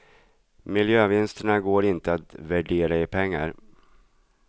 Miljövinsterna går inte att värdera i pengar.